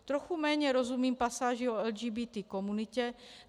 Trochu méně rozumím pasáži o LGBT komunitě.